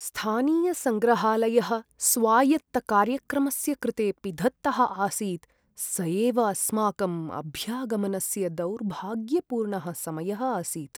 स्थानीयसङ्ग्रहालयः स्वायत्तकार्यक्रमस्य कृते पिधत्तः आसीत्, स एव अस्माकम् अभ्यागमनस्य दौर्भाग्यपूर्णः समयः आसीत्।